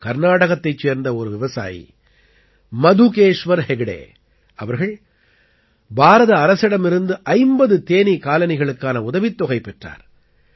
கர்நாடகத்தைச் சேர்ந்த ஒரு விவசாயி மதுகேஷ்வர் ஹெக்டே அவர்கள் பாரத அரசிடமிருந்து 50 தேனீ காலனிகளுக்கான உதவித்தொகை பெற்றார்